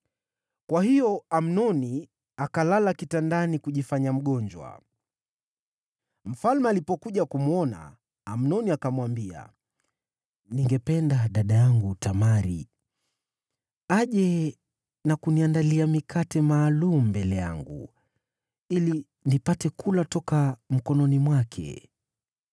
Kwa hiyo Amnoni akalala kitandani kujifanya mgonjwa. Mfalme alipokuja kumwona, Amnoni akamwambia, “Ningependa dada yangu Tamari aje na kuniandalia mikate maalum mbele yangu, ili nipate kula toka mkononi mwake.”